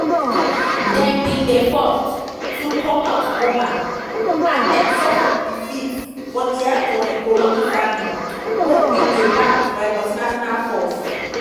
dem bin dey forced to comot goma and den suffer defeats for di hands of di congolese army wey bin dey backed by multinational force.